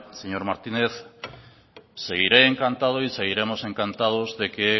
señor martínez seguiré encantado y seguiremos encantados de que